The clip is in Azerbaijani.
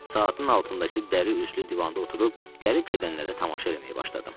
Saatın altındakı dəri üslü divanda oturub gəlib gedənlərə tamaşa eləməyə başladım.